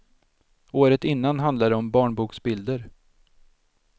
Året innan handlade det om barnboksbilder.